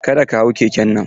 Ka da ka hau keken nan!